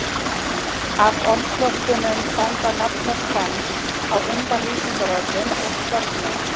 Af orðflokkunum standa nafnorð fremst, á undan lýsingarorðum og sögnum.